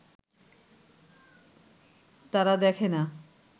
তারা দেখে না